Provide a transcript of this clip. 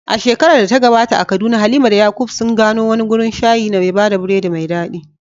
A shekarar da ta gabata a Kaduna, Halima da Yakub sun gano wani wurin shayi mai bada biredi mai dadi.